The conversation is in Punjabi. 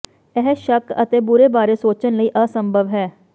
ਇਹ ਸ਼ੱਕ ਅਤੇ ਬੁਰੇ ਬਾਰੇ ਸੋਚਣ ਲਈ ਅਸੰਭਵ ਹੈ